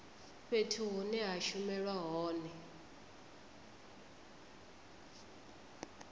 fhethu hune ha shumelwa hone